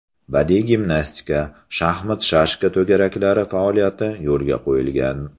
Badiiy gimnastika, shaxmat-shashka to‘garaklari faoliyati yo‘lga qo‘yilgan.